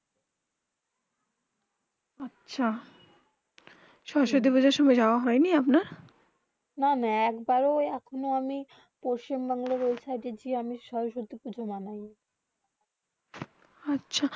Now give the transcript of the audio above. আচ্ছা সরস্বতী পুজো সময়ে যাওবা হয়ে নি আপনার না না এক বারো এখনো আমি পচিশ্ম বংল বোল্টেজই আমি সরস্বতী পুজো মানেই নি আচ্ছা